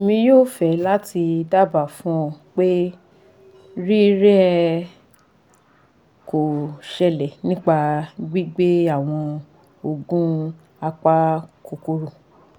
Emi yoo fe lati daba fun o pe rire ko sele nipa gbigbe awon oogun apakokoro